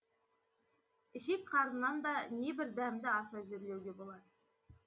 ішек қарыннан да небір дәмді ас әзірлеуге болады